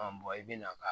bɔn i bɛn'a ka